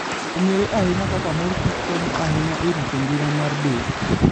Ong'ere ahinya kaka mor kich konyo ahinya e rito ngima maber mar del.